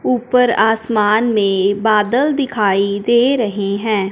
ऊपर आसमान में बादल दिखाई दे रहे हैं।